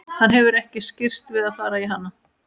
Hann hefur ekki skirrst við að fara í hana.